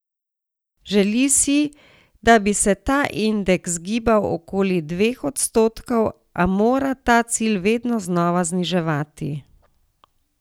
Želi si, da bi se ta indeks gibal okoli dveh odstotkov, a mora ta cilj vedno znova zniževati.